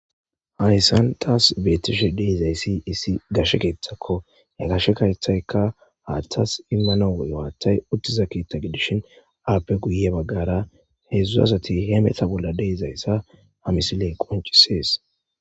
hayssan taas beetishe de izayssi issi gashe keethakko ya gashe kaethayekka haaththas immana woyowaaththay uttiza keittagedishin aappe guye baggara heedzdzuazati he meta bolla deizayssa hamisiley qoncisees